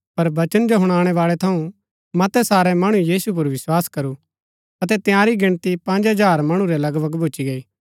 पर वचन जो हुणनैबाळै थऊँ मतै सारै मणु यीशु पुर विस्वास करू अतै तंयारी गिनती पँज हजार मणु रै लगभग भूच्ची गई